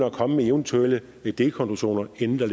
at komme med eventuelle delkonklusioner inden der